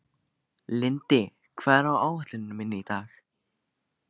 Lindi, hvað er á áætluninni minni í dag?